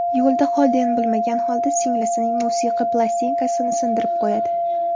Yo‘lda Xolden bilmagan holda singlisining musiqiy plastinkasini sindirib qo‘yadi.